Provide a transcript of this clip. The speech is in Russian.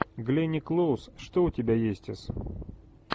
гленни клоуз что у тебя есть из